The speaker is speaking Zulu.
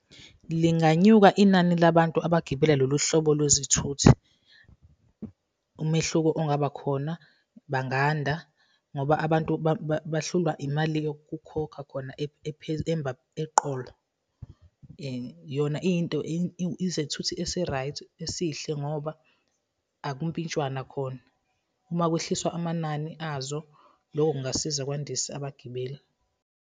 Linganyuka inani labantu abagibela lolu hlobo lwezithuthi. Umehluko ongaba khona, banganda, ngoba abantu bahlulwa imali yokukhokha khona eqolo. Yona iyinto izethuthi esi-right, esihle ngoba akumpintshwana khona. Uma kwehliswa amanani azo, lokho kungasiza kwandisa abagibeli.